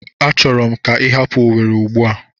Achọrọ m ka ị hapụ Owere Ugbua!